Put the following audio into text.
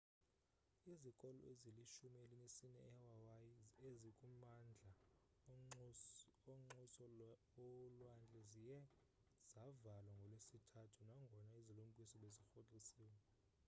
izikolo ezilishumi elinesine ehawaii ezikumandla onxuse ulwandle ziye zavalwa ngolwesithathu nangona izilumkiso bezirhoxisiwe